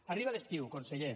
arriba l’estiu conseller